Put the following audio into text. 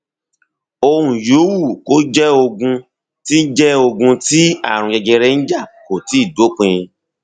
ohun yòówù kó jẹ ogun tí jẹ ogun tí ààrùn jẹjẹrẹ ń jà kò tíì dópin